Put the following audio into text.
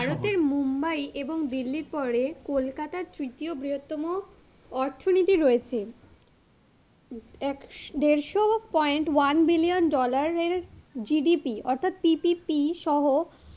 মুম্বাই এবং দিল্লির পরে কলকাতার তৃতীয় বৃহত্তম অর্থনীতি রয়েছে, এক~দেড়শ point one billion dollar এর GDP অর্থাৎ PPP সহ,